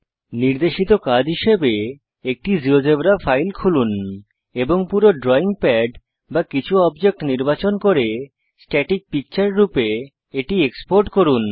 নির্দেশিত কাজ হিসাবে একটি জীয়োজেব্রা ফাইল খুলুন এবং পুরো ড্রয়িং প্যাড বা কিছু অবজেক্ট নির্বাচন করে স্ট্যাটিক পিকচার রূপে এটি এক্সপোর্ট করুন